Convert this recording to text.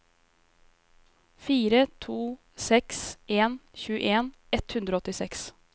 fire to seks en tjueen ett hundre og åttiseks